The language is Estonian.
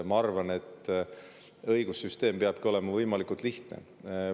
Ma arvan, et õigussüsteem peabki olema võimalikult lihtne.